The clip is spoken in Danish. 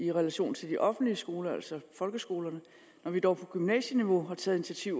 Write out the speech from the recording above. i relation til de offentlige skoler altså folkeskolerne når vi dog på gymnasieniveau har taget